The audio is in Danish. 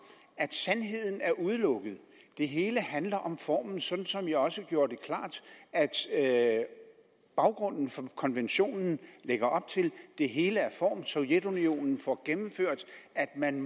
at sandheden er udelukket det hele handler om formen sådan som jeg også gjorde det klart at baggrunden for konventionen lægger op til nemlig at det hele er form sovjetunionen får gennemført at man